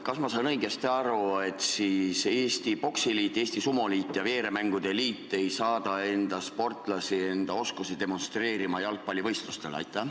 Kas ma sain õigesti aru, et Eesti Poksiliit, Eesti Sumoliit ja Eesti Veeremängude Liit ei saada enda sportlasi oma oskusi demonstreerima jalgpallivõistlustele?